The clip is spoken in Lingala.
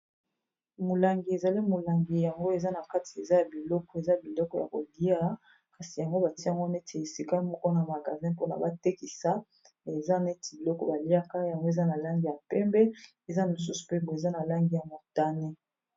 Molangi ezali molangi yango eza na kati eza ya biloko eza biloko ya kolia kasi yango batiango neti a esika moko na magazin mpona batekisa eza neti biloko baliaka yango eza na langi ya pembe eza mosusu pe boye eza na langi ya motane.